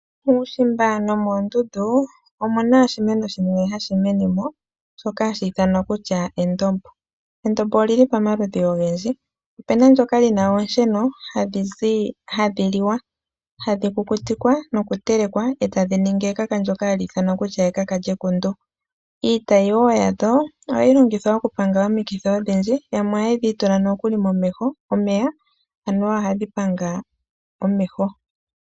Muushimba nomoondundu omu na oshimeno shimwe hashi mene mo shoka hashi ithanwa kutya endombo. Endombo oli li pamaludhi ogendji opu na ndoka li na oosheno hadhi liwa , hadhi kukutikwa noku telekwa etadhi ningi ekaka ndoka hali ithanwa kutya ekaka lyekundu. Iitayi wo yalyo ohayi longithwa oku panga omikithi odhindji yamwe ohadhi itula nokuli momeho omeya anuwa ohadhi panga omeho.